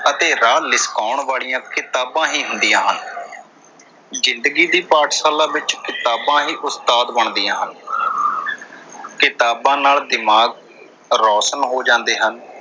ਅਤੇ ਰਾਹ ਲਿਸ਼ਕਾਉਣ ਵਾਲੀਆਂ ਕਿਤਾਬਾਂ ਹੀ ਹੁੰਦੀਆਂ ਹਨ। ਜਿੰਦਗੀ ਦੀ ਪਾਠਸ਼ਾਲਾ ਵਿੱਚ ਕਿਤਾਬਾਂ ਹੀ ਉਸਤਾਦ ਬਣਦੀਆਂ ਹਨ। ਕਿਤਾਬਾਂ ਨਾਲ ਦਿਮਾਗ਼ ਰੋਸ਼ਨ ਹੋ ਜਾਂਦੇ ਹਨ।